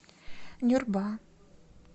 нюрба